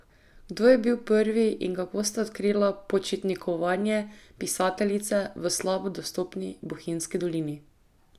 Kdo je bil prvi in kako sta odkrila počitnikovanje pisateljice v slabo dostopni Bohinjski dolini?